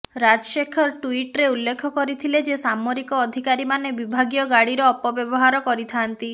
ରାଜଶେଖର ଟ୍ୱିଟର୍ରେ ଉଲ୍ଲେଖ କରିଥିଲେ ଯେ ସାମରିକ ଅଧିକାରୀମାନେ ବିଭାଗୀୟ ଗାଡ଼ିର ଅପବ୍ୟବହାର କରିଥାଆନ୍ତି